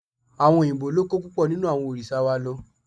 Àwọn òyìnbó ló kó púpọ̀ nínú àwọn òrìṣà wa lọ